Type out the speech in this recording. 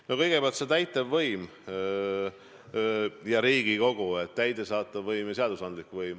No kõigepealt see täitevvõim ja Riigikogu kui seadusandlik võim.